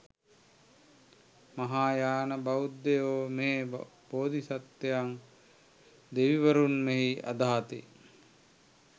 මහායාන බෞද්ධයෝ මේ බෝධිසත්වයන් දෙවිවරුන් මෙන් අදහති.